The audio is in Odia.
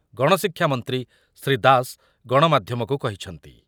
ଗଣଶିକ୍ଷା ମନ୍ତ୍ରୀ ଶ୍ରୀ ଦାସ ଗଣମାଧ୍ୟମକୁ କହିଛନ୍ତି